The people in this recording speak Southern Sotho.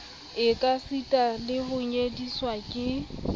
ekasita le ho nyediswa ke